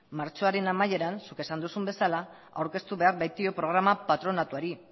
martxoaren amaieran zuk esan duzun bezala aurkeztu behar baitio programa patronatuari